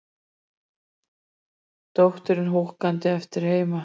Dóttirin húkandi eftir heima.